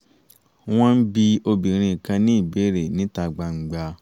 wọ́n ń bi obìnrin kan ní ìbéèrè níta gbangba